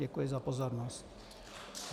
Děkuji za pozornost.